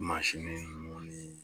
mansin ninnu ni